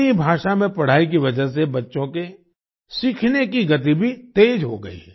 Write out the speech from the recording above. अपनी भाषा में पढ़ाई की वजह से बच्चों के सीखने की गति भी तेज हो गई